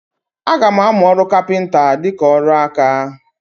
Aga m amụ ọrụ kapịnta dịka ọrụ aka.